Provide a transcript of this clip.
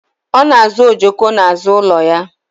Ọ na azọ ojoko n'azụ ụlọ ya